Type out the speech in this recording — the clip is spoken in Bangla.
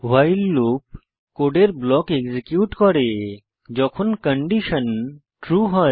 ভাইল লুপ কোডের ব্লক এক্সিকিউট করে যখন একটি কন্ডিশন ট্রু হয়